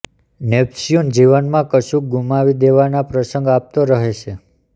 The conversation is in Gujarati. નેપચ્યુન જીવનમાં કશુંક ગુમાવી દેવાના પ્રસંગ આપતો રહે છે